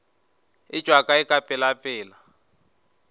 e tšwa kae ka pelapela